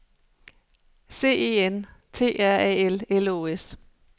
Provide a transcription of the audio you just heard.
C E N T R A L L Å S